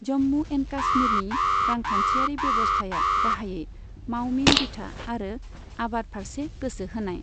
Jammu and कश्मीरनि रांखान्थियारि बेब'स्थाया गाहायै मावमिन बिथा आरो आबाद फारसे गोसो होनाय।